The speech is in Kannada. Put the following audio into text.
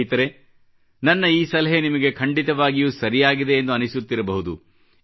ಸ್ನೇಹಿತರೇ ನನ್ನ ಈ ಸಲಹೆ ನಿಮಗೆ ಖಂಡಿತವಾಗಿಯೂ ಸರಿಯಾಗಿದೆ ಎಂದು ಅನಿಸುತ್ತಿರಬಹುದು